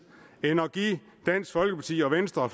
end at give dansk folkeparti og venstre